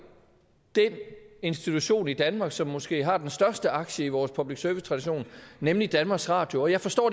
den institution i danmark som måske har den største aktie i vores public service tradition nemlig danmarks radio jeg forstår